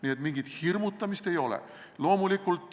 Nii et mingit hirmutamist ei ole.